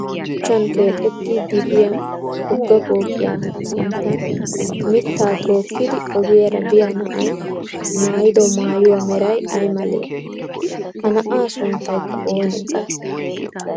Shuchchan keexettiid diyaa wogga pooqiya sinttan mittaa tookkidi ogiyaara biya na'ay mayyido mayyuwaa meray ay malee? Ha na'aa sunttayikka oonee?